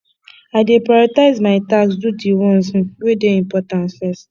i dey prioritize my tasks do di ones um wey dey important first